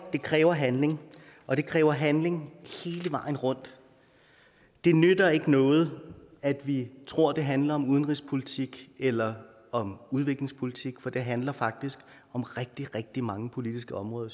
det kræver handling og det kræver handling hele vejen rundt det nytter ikke noget at vi tror det handler om udenrigspolitik eller om udviklingspolitik for det handler faktisk om rigtig rigtig mange politiske områder